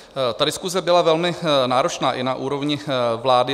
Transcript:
Ta diskuse byla velmi náročná i na úrovni vlády.